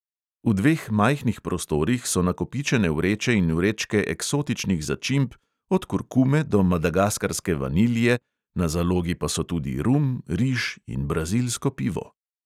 V dveh majhnih prostorih so nakopičene vreče in vrečke eksotičnih začimb od kurkume do madagaskarske vanilije, na zalogi pa so tudi rum, riž in brazilsko pivo.